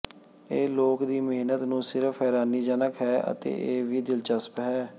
ਇਹ ਲੋਕ ਦੀ ਮਿਹਨਤ ਨੂੰ ਸਿਰਫ਼ ਹੈਰਾਨੀਜਨਕ ਹੈ ਅਤੇ ਇਹ ਵੀ ਦਿਲਚਸਪ ਹੈ